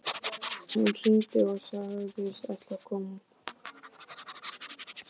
Hún hringdi og sagðist ætla að koma.